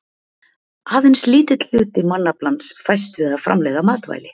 aðeins lítill hluti mannaflans fæst við að framleiða matvæli